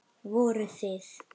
Voruð þið.